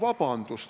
" Vabandust!